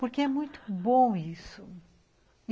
Porque é muito bom isso.